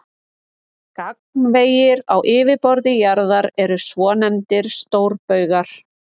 Vinningshafar: Jóhann Skúli Jónsson Þröstur Pétursson Helgi Júlíus Sævarsson